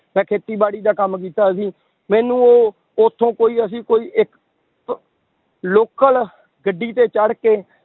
ਮੈਂ ਖੇਤੀਬਾੜੀ ਦਾ ਕੰਮ ਕੀਤਾ ਹੋਇਆ ਸੀ, ਮੈਨੂੰ ਉਹ ਉੱਥੋਂ ਕੋਈ ਅਸੀਂ ਕੋਈ ਇੱਕ local ਗੱਡੀ ਤੇ ਚੜ੍ਹ ਕੇ